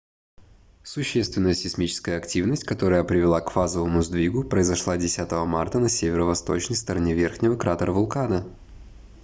существенная сейсмическая активность которая привела к фазовом сдвигу произошла 10 марта на северо-восточной стороне верхнего кратера вулкана